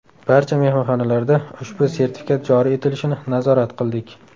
Barcha mehmonxonalarda ushbu sertifikat joriy etilishini nazorat qildik.